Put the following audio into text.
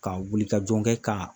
Ka wili ka jɔ kɛ ka